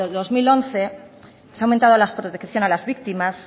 dos mil once se ha aumentado la protección a las víctimas